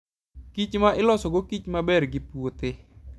kichma ilosogo kich maber gi puothe.